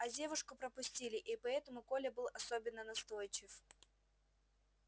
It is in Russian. а девушку пропустили и поэтому коля был особенно настойчив